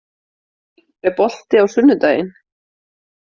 Dalí, er bolti á sunnudaginn?